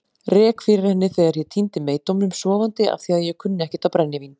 Rek fyrir henni þegar ég týndi meydómnum sofandi afþvíað ég kunni ekkert á brennivín.